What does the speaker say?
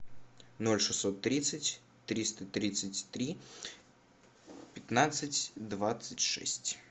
ноль шестьсот тридцать триста тридцать три пятнадцать двадцать шесть